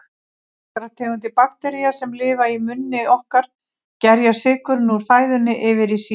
Nokkrar tegundir baktería, sem lifa í munni okkar, gerja sykurinn úr fæðunni yfir í sýru.